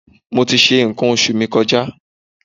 Mo ti ṣe nǹkan oṣù mi kọjá.